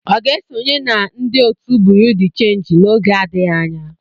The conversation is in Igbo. Ọ ga-esonye na ndị otu Buru di chenji n'oge adịghị anya.